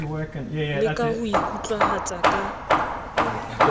le ka ho ikutlwahatsa ka